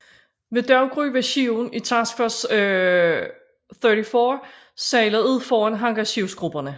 Ved daggry var skibene i Task Force 34 sejlet ud foran hangarskibsgrupperne